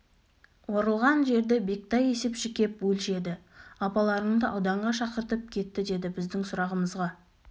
орылған жерді бектай есепші кеп өлшеді апаларыңды ауданға шақыртып кетті деді біздің сұрағымызға